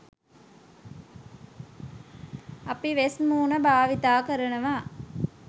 අපි වෙස් මුහුණු භාවිත කරනවා